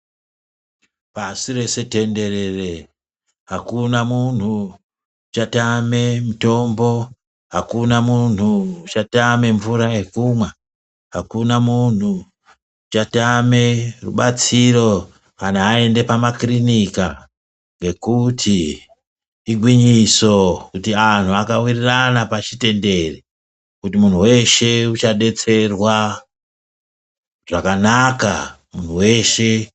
Pasi rese tenderere akuna munhu uchatame mutombo, akuna munhu uchatame mvura yekumwa, akuna munhu uchatame rubatsiro kana ayende pamakirinika ngekuti igwinyiso kuti anhu alawirirana pashitendere kuti muntu weshe uchadetserwa zvakanaka.